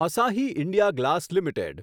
Asahi India glass limited